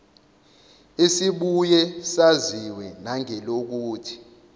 esibuye saziwe nangelokuthi